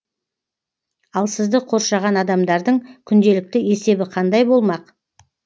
ал сізді қоршаған адамдардың күнделікті есебі қандай болмақ